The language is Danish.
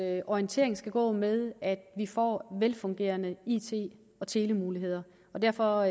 orientering skal gå med at vi får velfungerende it og telemuligheder og derfor